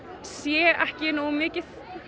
sé ekki nógu mikið